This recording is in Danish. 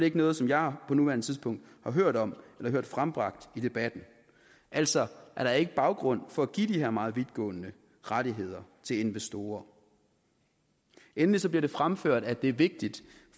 ikke noget som jeg på nuværende tidspunkt har hørt om eller hørt frembragt i debatten altså er der ikke baggrund for at give de her meget vidtgående rettigheder til investorer endelig bliver det fremført at det er vigtigt